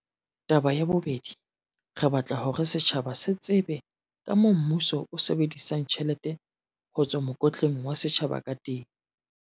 "Tabeng ya bobedi, re batla hore setjhaba se tsebe kamoo mmuso o sebedisang tjhelete ho tswa mokotleng wa setjhaba ka teng."